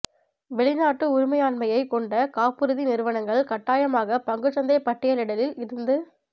வெளிநாட்டு உரிமையாண்மையை கொண்ட காப்புறுதி நிறுவனங்கள் கட்டாயமாக பங்குச்சந்தை பட்டியலிடலில் இருந்து வ